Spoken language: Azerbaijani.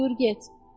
Buyur get.